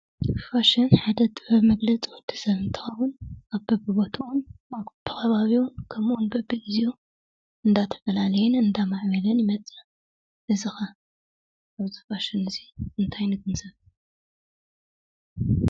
ፋሽን ናይ ሓደ ወዲሰብ ጥበብ መግለፂ እንትኸውን ኣብ በብቦቱኡን ኣብ በብከባቢኡን ከምኡውን በብግዚኡን እንዳተፈላለየን እንዳማዕበለን ይመፅእ፡፡ እዚ ኸ ካብዚ ፋሽን እዚ እንታይ ንግንዘብ?